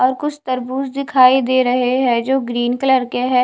और कुछ तरबूज दिखाई दे रहे है जो ग्रीन कलर के है।